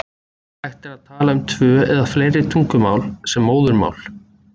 Hægt er að tala um tvö eða fleiri tungumál sem móðurmál.